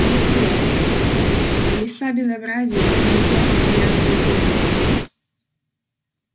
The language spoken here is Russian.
не то ну лиса безобразит не то окаянный гоблин